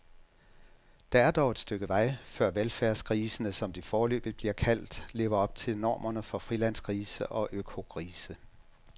Der er dog et stykke vej, før velfærdsgrisene, som de foreløbig bliver kaldt, lever op til normerne for frilandsgrise og økogrise.